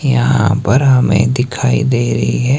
यहां पर हमें दिखाई दे रही है।